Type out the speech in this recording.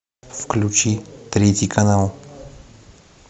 включи третий канал